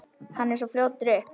Kennari af Guðs náð.